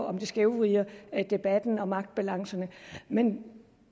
om det skævvrider debatten og magtbalancen men